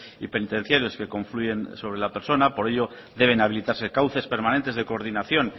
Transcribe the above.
y penitenciarios que confluyen sobre la persona por ello deben habilitarse cauces permanentes de coordinación